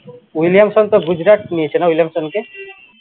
William সন তো গুজরাট নিয়েছে না উইলামসনকে?